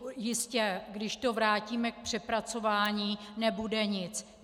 Jistě, když to vrátíme k přepracování, nebude nic.